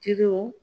Kiriw